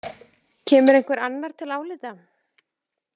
Kemur einhver annar til álita?